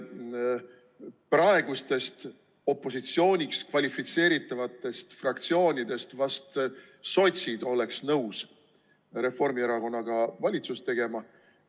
Praegustest opositsiooniks kvalifitseeritavatest fraktsioonidest oleksid vast ainult sotsid nõus Reformierakonnaga valitsust tegema.